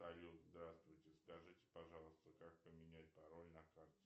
салют здравствуйте скажите пожалуйста как поменять пароль на карте